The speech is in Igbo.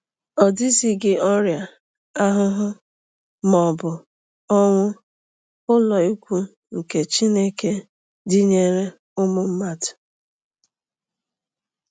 Ọdizighị ọrịa, ahụhụ, ma ọ bụ onwu: “Ụlọikwuu nke Chineke dịnyeere ụmụ mmadụ...